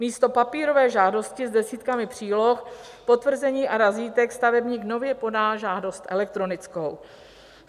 Místo papírové žádosti s desítkami příloh, potvrzení a razítek stavebník nově podá žádost elektronickou.